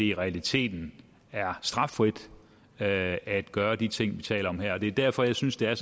i realiteten er straffrit at at gøre de ting vi taler om her det er derfor jeg synes det er